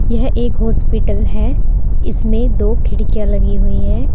यह एक हॉस्पिटल है इसमें दो खिड़कियां लगी हुई है।